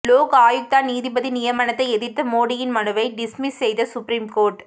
லோக் ஆயுக்தா நீதிபதி நியமனத்தை எதிர்த்த மோடியின் மனுவை டிஸ்மிஸ் செய்த சுப்ரீம் கோர்ட்